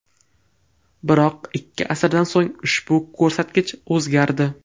Biroq ikki asrdan so‘ng ushbu ko‘rsatkich o‘zgardi.